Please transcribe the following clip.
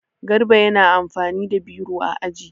Garba yana amfani da biro a aji.